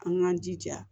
An k'an jija